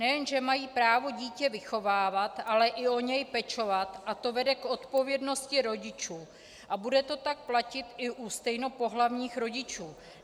Nejen že mají právo dítě vychovávat, ale i o něj pečovat a to vede k odpovědnosti rodičů a bude to tak platit i u stejnopohlavních rodičů.